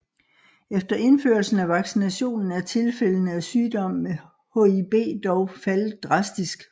Efter indførelsen af vaccinationen er tilfældene af sygdom med Hib dog faldet drastisk